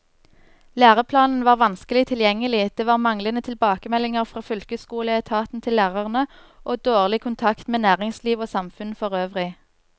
Læreplanen var vanskelig tilgjengelig, det var manglende tilbakemeldinger fra fylkesskoleetaten til lærerne, og dårlig kontakt med næringsliv og samfunn forøvrig.